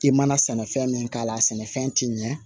I mana sɛnɛfɛn min k'a la a sɛnɛfɛn ti ɲɛ